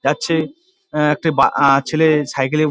যাচ্ছে আঃ বা আঃ ছেলে সাইকেল -এ --